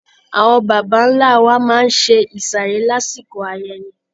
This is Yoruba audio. Àwọn baba ńlá wa máa ń ṣe ìsàrè lásìkò ayẹyẹ.